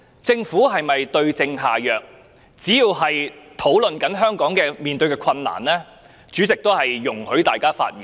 只要議員的發言是討論香港面對的困難，主席便會容許大家發言。